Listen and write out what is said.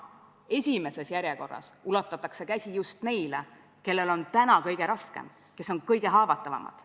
Esimeses järjekorras ulatatakse käsi just neile, kellel on kõige raskem, kes on kõige haavatavamad.